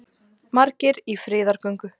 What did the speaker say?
Margir í friðargöngu